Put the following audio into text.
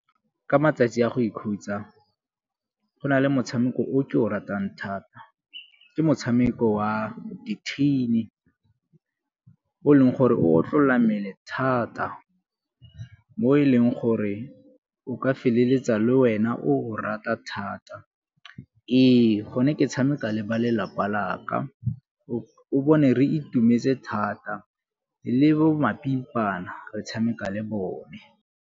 Ka matsatsi a go ikhutsa go na le motshameko o ke o ratang thata, ke motshameko wa dithini o e leng gore o tlolola mmele thata, mo e leng gore o ka feleletsa le wena o rata thata. Ee, go ne ke tshameka le ba lelapa laka o bone re itumetse thata le bo mapimpana re tshameka le bone.